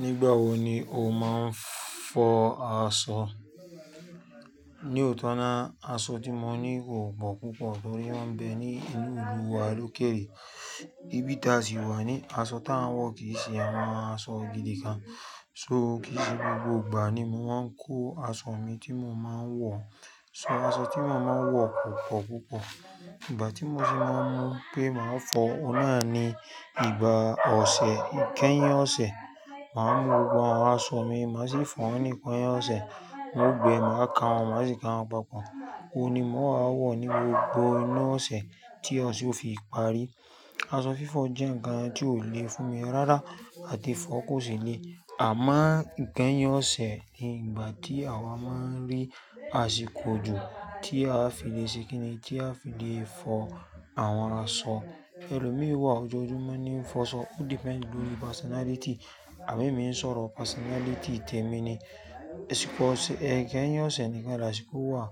Nígbà wo ni o máa ń fọ aṣọ? Ni òótọ́ ná, aṣọ tí mo ní kò pọ̀ púpọ̀ torí ó ń bẹ ní inú ìlú wa Lókèèrè. Ibi tí a sì wà ní, aṣọ tá a ń wọ̀ kì í ṣe àwọn aṣọ gidi kan. So kì í ṣe gbogbo ìgbà ni mo máa ń kó aṣọ mi tí mo máa ń wọ̀. Ṣọ aṣọ tí mo máa ń wọ̀ kò pọ̀ púpọ̀. Ìgbà tí mo sì máa mọ̀ pé màá fọ, ọ̀un nà náà ni ìgbà ọ̀sẹ̀, ìkẹ́yìn ọ̀sẹ̀. Màá mú gbogbo àwọn aṣọ mi, màá sì fọ̀ wọ́n ní ìkẹ́yìn ọ̀sẹ̀. Wọ́n ó gbẹ, màá ka wọ́n, màá sì ka wọ́n papọ̀. Ó ni mò wá wọ̀ ní gbogbo inú ọ̀sẹ̀ tí ọ̀sẹ̀ ò fi pàárí. Aṣọ fífọ̀ jẹ́ ǹkan tí ò le fún mi rárá àti fọ kò sì le. Àmọ́ ìkẹ́yìn ọ̀sẹ̀ ni ìgbà tí àwa máa ń rí àsìkò jù tí a fi le ṣe kíni, tí a fi le fọ àwọn aṣọ. Ẹlòmíì wá ọjọ́ọjumo ńi n fọ aṣọ. Ó depend lórí personality. Àbí mi ń sọ̀rọ̀ personality tèmi ni. Ìkẹ́yìn ọ̀sẹ̀ ni ìyen ni asìkọ̀ wà.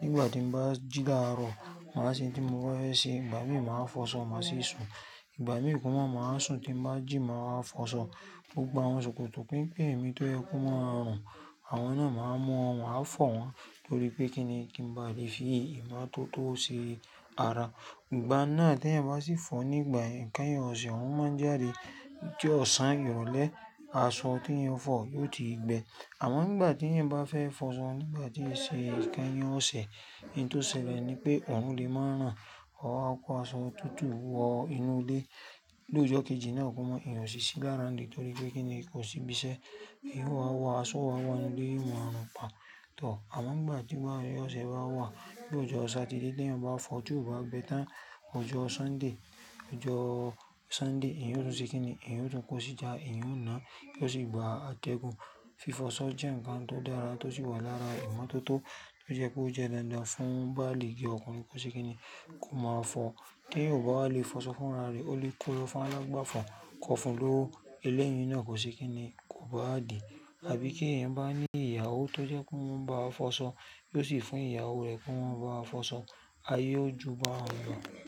Nígbà tí mo bá jì láàárọ̀, màá ṣe ohun tí mo fẹ́ ṣe. Ìgbà mìi máa fọ aṣọ, màá sì sùn. Ìgbà mìí má máa sùn tí n bá jì máa fọ aṣọ. Gbogbo àwọn ṣòkòtò pínpín mi tó yẹ kó máa rùn, àwọn náà máa mọ́, màá fọ̀ wọ́n torí pé kí ni kí n ba lè fi ìmọ́tótó ṣe ara. Ìgbà náà tí ẹ̀yin bá sì fọ nígbà ìkẹ́yìn ọ̀sẹ̀, òun má ń jáde kí ọ̀sán ìrọ̀lẹ́ aṣọ tí ẹ̀yan fọ̀ yó ti gbẹ. Àmọ́ nígbà tí ẹ̀yann bá fẹ́ fọ aṣọ nígbà tí í ṣe ìkẹ́yìn ọ̀sẹ̀, ohun tó ṣẹlẹ̀ ni pé òrun lè máa ran. Ọ̀r kó aṣọ tútù wọ inú ilé. Lójọ́ kejì náà kò mọ ìyẹn ò sì ṣí lára nì torí pé kí ni kò sí ibiṣẹ́. Eyqn ó wáa wọ aṣọ, ó máa wọ inú ilé, ó máa rùn pà tọ̀r. Àmọ́ nígbà tí osẹ̀ bá wà, ní ọjọ́ Saturday tí ẹ̀yin bá fọ tí ò bá gbẹ tán, ọjọ́ Sunday, ọjọ́ Sunday ìyẹn ó tùn ṣe kí ni? Ìyẹn ó tùn kó sì jtá, eyan ó náà kí ó sì gba àtẹ̀gùn. Fífọ aṣọ jẹ́ ǹkan tó dára tó sì wà lára ìmọ́tótó tó jẹ́ kó jẹ́ dandan fún báálìgi ọkùnrin kó ṣe kí ni? Kò máa fọ. Tí eyan ò bá lè fọ aṣọ fún ara rẹ̀, ó lè kó lọ fún alágbàfọ̀ kó fún un lówó. Elẹ́yì náà kò ṣe kí ni? Kò báadì. Àbí kí ẹ̀yan bá ní ìyàwó tó jẹ́ kó máa ń bá ọ fọ aṣọ kí ó sì fún ìyàwó rẹ kó máa bá a fọ aṣọ, ayé ó ju bá'un lọ̀.